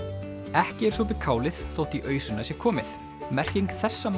ekki er sopið kálið þótt í ausuna sé komið merking þessa